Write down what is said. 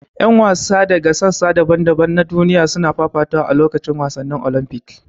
Yan wasa daga sassa daban-daban na duniya suna fafatawa a lokacin wasannin Olympics.